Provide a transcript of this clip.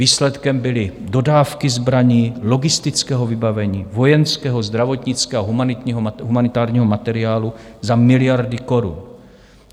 Výsledkem byly dodávky zbraní, logistického vybavení, vojenského, zdravotnického a humanitárního materiálu za miliardy korun.